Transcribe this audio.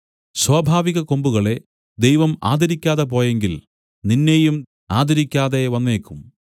സ്വാഭാവികകൊമ്പുകളെ ദൈവം ആദരിക്കാതെ പോയെങ്കിൽ നിന്നെയും ആദരിക്കാതെ വന്നേക്കും